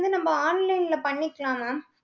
வந்து நம்ம online ல பண்ணிக்கலாம் mam.